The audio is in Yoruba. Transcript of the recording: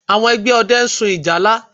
Àwọn ẹgbẹ́ ọdẹ ń sun ìjálá